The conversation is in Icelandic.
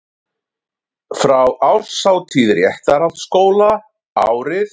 Frá árshátíð Réttarholtsskóla árið